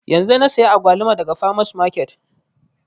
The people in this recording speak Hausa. Yanzun na saya agwaluma daga farmers market